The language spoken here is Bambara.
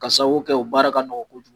Ka sababu kɛ o baara ka nɔgɔ kojugu.